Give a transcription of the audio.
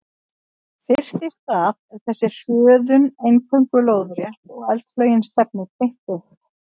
Fyrst í stað er þessi hröðun eingöngu lóðrétt og eldflaugin stefnir beint upp.